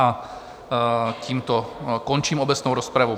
A tímto končím obecnou rozpravu.